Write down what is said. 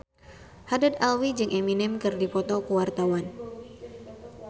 Haddad Alwi jeung Eminem keur dipoto ku wartawan